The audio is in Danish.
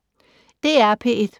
DR P1